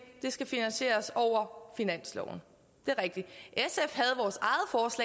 det skal finansieres over finansloven det er rigtigt